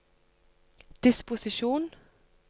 disposisjon